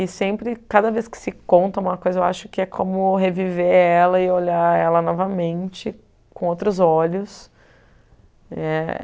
E sempre, cada vez que se conta uma coisa, eu acho que é como reviver ela e olhar ela novamente com outros olhos. É